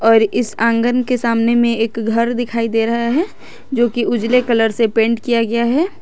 और इस आंगन के सामने में एक घर दिखाई दे रहा है जोकी उजले कलर से पेंट किया गया है।